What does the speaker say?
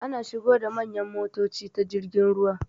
Ana shigo da manyan motoci ta jirgin ruwa.